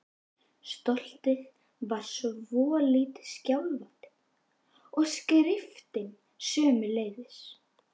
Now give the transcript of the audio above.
Stoltið var svolítið skjálfandi og skriftin sömuleiðis.